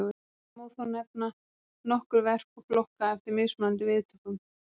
Það má þó nefna nokkur verk og flokka eftir mismunandi viðtökum.